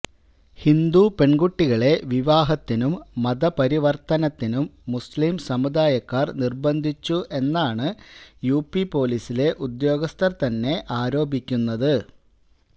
ഹിന്ദു പെൺകുട്ടികളെ വിവാഹത്തിനും മതപരിവർത്തനത്തിനും മുസ്ലീ സമുദായക്കാർ നിർബന്ധിച്ചു എന്നാണ് യുപി പൊലീസിലെ ഉദ്യോഗസ്ഥർ തന്നെ ആരോപിക്കുന്നത്